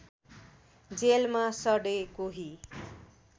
जेलमा सडे कोही